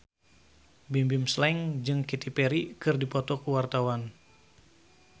Bimbim Slank jeung Katy Perry keur dipoto ku wartawan